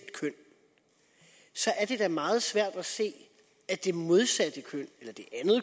køn så er det da meget svært at se at det modsatte køn